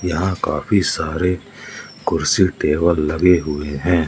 यहां काफी सारे कुर्सी टेबल लगे हुए हैं।